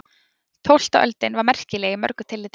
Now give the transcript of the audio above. Tólfta öldin var merkileg í mörgu tilliti.